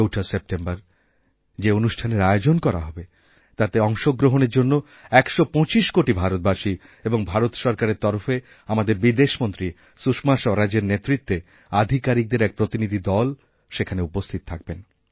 ৪ঠা September যে অনুষ্ঠানের আয়োজন করা হবে তাতে অংশগ্রহণের জন্য একশো পঁচিশকোটি ভারতবাসী এবং ভারত সরকারের তরফে আমাদের বিদেশমন্ত্রী সুষমা স্বরাজের নেতৃত্বেআধিকারিকদের এক প্রতিনিধি দল সেখানে উপস্থিত থাকবেন